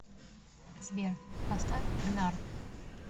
сбер поставь гнар